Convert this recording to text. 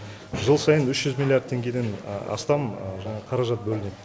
жыл сайын үш жүз миллиард теңгеден астам жаңағы қаражат бөлінеді